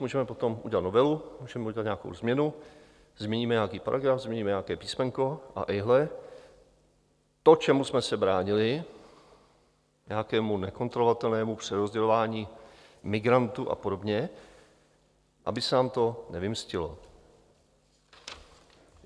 Můžeme potom udělat novelu, můžeme udělat nějakou změnu, změníme nějaký paragraf, změníme nějaké písmenko, a ejhle, to, čemu jsme se bránili, nějakému nekontrolovatelnému přerozdělování migrantů a podobně, aby se nám to nevymstilo.